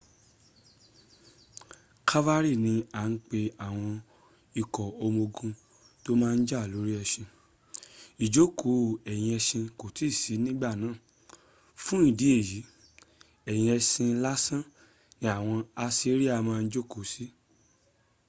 calvary ni a ń pe àwọn ikọ̀́ ọmọ ogun to máa n jà lórí ẹṣin. ìjòkó ẹ̀yìn ẹṣin kòì tí ì sí ní ìgbà náà fún ìdí èyí ẹ̀yìn ẹṣin lásan ni awọn assyrian máa ń jòkó sí láti jà